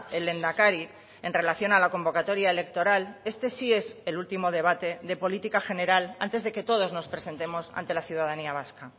el lehendakari en relación a la convocatoria electoral este sí es el último debate de política general antes de que todos nos presentemos ante la ciudadanía vasca